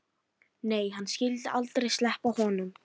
Nei, hann skyldi aldrei sleppa honum.